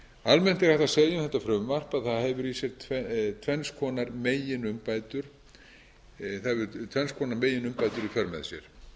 almennt er hægt að segja um þetta frumvarp að það hefur tvenns konar meginumbætur í för með sér